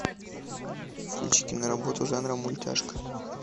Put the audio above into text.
включи киноработу жанра мультяшка